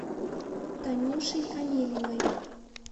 танюшей амелиной